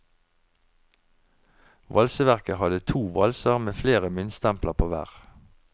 Valseverket hadde to valser med flere myntstempler på hver.